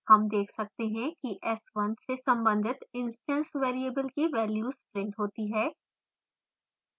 हम देख सकते हैं कि s1 से संबंधित instance variables की values printed होती हैं